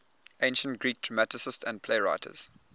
ancient greek dramatists and playwrights